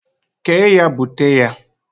kee ya bute ya.!